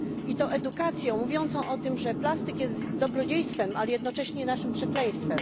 I to edukacją mówiącą o tym, że plastik jest dobrodziejstwem, ale jednocześnie naszym przekleństwem.